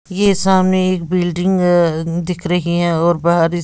ये सामने एक बिल्डिंग अ दिख रही है और बाहर इस--